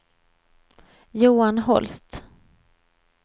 Johan Holst